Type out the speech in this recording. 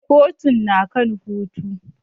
Kotun na kan hutu.